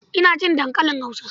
Ina cin dankalin Hausa.